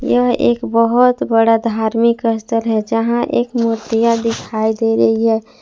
यह एक बहोत बड़ा धार्मिक स्थल है जहाँ एक मूर्तियां दिखाई दे रही है।